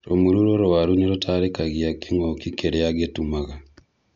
Rũmuru rũrwaru nĩrũtarĩrĩkagia kĩngũkĩ kĩrĩa ngĩtumaga